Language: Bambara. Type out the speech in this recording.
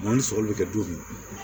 Mɔ ni sɔgɔli bɛ kɛ du min na